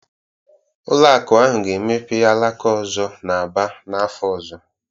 Ụlọ akụ ahụ ga-emepe alaka ọzọ n'Aba n'afọ ọzọ